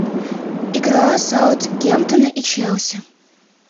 игра саутгемптона и челси